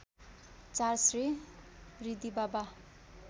४ Shri Riddhibaba